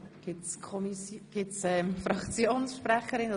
Wünschen Fraktionssprecherinnen oder Fraktionssprecher das Wort?